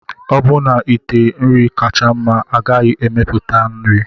Ọbụna ite nri kacha mma agaghị emepụta nri.